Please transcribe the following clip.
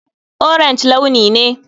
Orange launi ne.